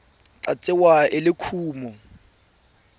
tla tsewa e le kumo